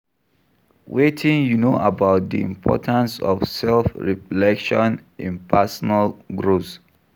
Wetin you know about di importance of self-reflection in personal growth?